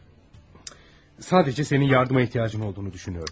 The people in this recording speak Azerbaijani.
Sadəcə, sadəcə sənin yardıma ehtiyacın olduğunu düşünürəm.